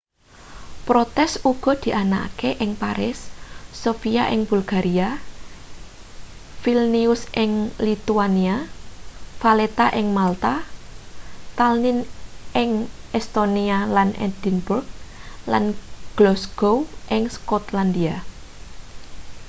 protes uga dianakake ing paris sofia ing bulgaria vilnius ing lithuania valetta ing malta tallinn ing estonia lan edinburgh lan glasgow ing skotlandia